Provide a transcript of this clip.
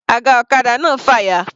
Aga ọ̀kadà náà fàya.